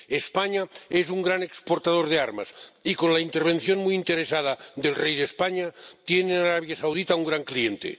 España es un gran exportador de armas y, con la intervención muy interesada del rey de España, tiene en Arabia Saudita un gran cliente.